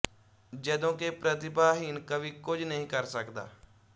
ਜਦੋਂ ਕਿ ਪ੍ਰਤਿਭਾਹੀਨ ਕਵੀ ਕੁੱਝ ਨਹੀਂ ਕਰ ਸਕਦਾ